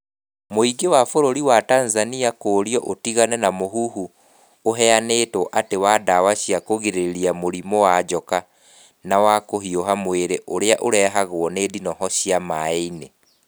Mũingĩ wa bũrũri wa Tanzania kũũrio ũtigane na mũhuhu ũhenyanĩtwo atĩ wa ndawa cia kũgirĩria mũrimũ wa njoka na wa kũhiũha mwĩrĩ ũrĩa ũrehagwo nĩ ndinoho cia maai-inĩ.